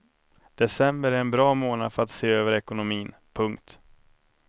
December är en bra månad för att se över ekonomin. punkt